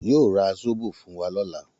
Yóò ra Zóbò fún wa lọ́la.